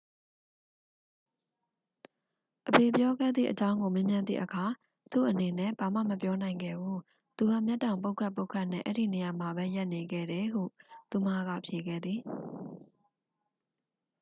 "အဖေပြောခဲ့သည့်အကြောင်းကို မေးမြန်းသည့်အခါ "သူ့အနေနဲ့ ဘာမှ မပြောနိုင်ခဲ့ဘူး - သူက မျက်တောင်ပုတ်ခတ်ပုတ်ခတ်နဲ့ အဲဒီနေရာမှာပဲ ရပ်နေခဲ့တယ်" ဟု သူမက ဖြေခဲ့သည်။